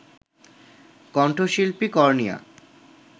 কণ্ঠশিল্পী কর্ণিয়া